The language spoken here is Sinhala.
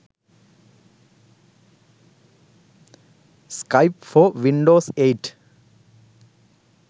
skype for windows 8